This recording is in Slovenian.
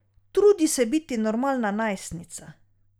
Trudi se biti normalna najstnica ...